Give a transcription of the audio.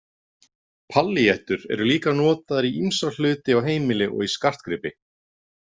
Pallíettur eru líka notaðar í ýmsa hluti á heimili og í skartgripi.